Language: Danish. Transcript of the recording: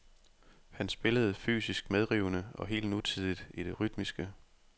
Han spillede fysisk medrivende og helt nutidigt i det rytmiske.